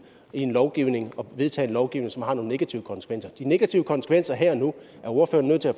en lovgivning og vedtage en lovgivning som har nogle negative konsekvenser de negative konsekvenser her og nu er ordføreren nødt til at